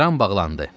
Kran bağlandı.